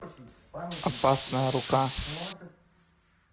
опасная рука